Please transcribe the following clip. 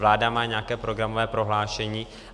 Vláda má nějaké programové prohlášení.